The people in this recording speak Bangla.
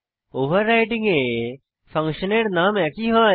ওভাররাইডিং এ ফাংশনের নাম একই হয়